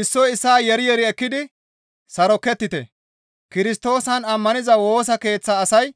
Issoy issaa yeeri yeeri ekkidi sarokettite; Kirstoosan ammaniza Woosa Keeththaa asay